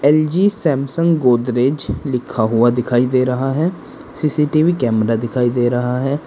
LG Samsung Godrej लिखा हुआ दिखाई दे रहा है सी_सी_टी_वी कैमरा दिखाई दे रहा है।